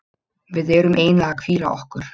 Við erum eiginlega að hvíla okkur.